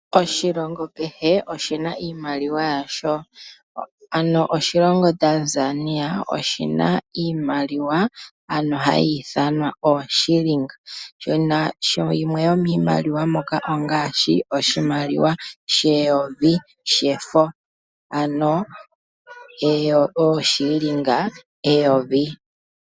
Oshilongo kehe oshina iimaliwa yasho, ano oshilongo Tanzania oshina iimaliwa ano hayi ithanwa ooshilinga. Shimwe sho miimaliwa mbyoka ongaashi, oshimaliwa sheyovi shefo ano ooshilinga eyovi.